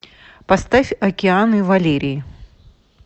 поставь океаны валерии